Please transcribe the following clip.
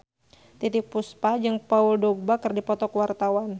Titiek Puspa jeung Paul Dogba keur dipoto ku wartawan